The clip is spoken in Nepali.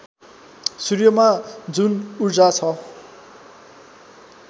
सूर्यमा जुन ऊर्जा छ